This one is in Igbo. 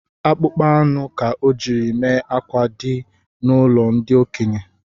Akpụkpọ anụ ka ọ jiri mee akwa di n’ụlọ ndi okenye